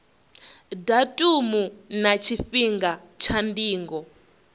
datumu na tshifhinga tsha ndingo